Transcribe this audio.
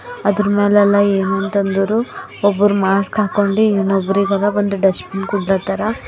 ಅದರ ಮ್ಯಾಲ ಎಲ್ಲಾ ಏನಂತ ಅಂದರು ಒಬ್ಬರ ಮಾಸ್ಕ್ ಹಾಕೊಂಡಿ ಇನ್ನೂಬ್ಬಿರ ಇವರ ಡಸ್ಟಬಿನ್ ಗುಡ್ಡಾತಾರ.